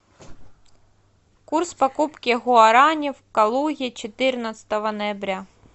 курс покупки гуарани в калуге четырнадцатого ноября